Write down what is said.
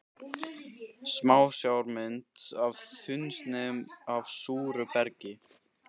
Smásjármynd af þunnsneiðum af súru bergi.